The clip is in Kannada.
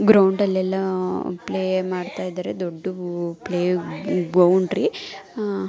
ಗ್ರೌಂಡ್ ಲೆಲ್ಲ ಪ್ಲೇ ಮಾಡ್ತಾ ಇದಾರೆ ದೊಡ್ಡು ಪ್ಲೇ ಬೌಂಡರಿ ಆಹ್ಹ್